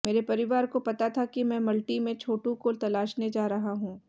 मेरे परिवार को पता था कि मैं मल्टी में छोटू को तलाशने जा रहा हूं